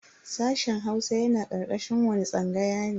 Sashen Hausa yana karkashin wani tsangaya ne?